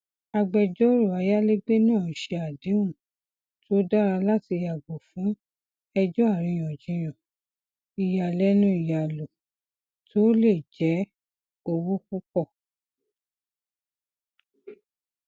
agbẹjọrò ayálégbé náà ṣe àdéhùn tó dára láti yàgò fún ẹjọ ariyanjiyan iyàlénu iyàlò tó le jẹ owó púpọ